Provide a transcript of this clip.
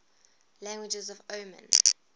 languages of oman